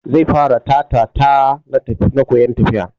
Zai fara Ta-ta-ta na koyan tafiya.